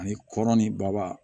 Ani kɔrɔn ni baba